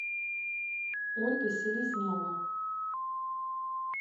ольга селезнева